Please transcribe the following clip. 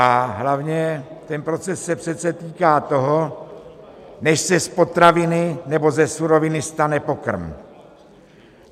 A hlavně, ten proces se přece týká toho, než se z potraviny nebo ze suroviny stane pokrm.